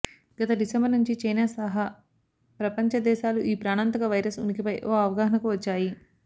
గత డిసెంబరు నుంచి చైనా సహా ప్రపంచ దేశాలు ఈ ప్రాణాంతక వైరస్ ఉనికిపై ఓ అవగాహనకు వచ్చాయి